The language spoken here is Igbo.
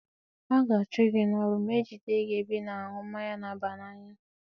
A ga-achụ gị n'ọrụ ma ejide gị na-ebe ị na-aṅụ mmanya na-aba na-anya.